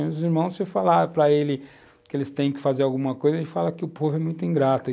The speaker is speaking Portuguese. Os irmãos, se eu falar para eles que eles têm que fazer alguma coisa, eles falam que o povo é muito ingrato.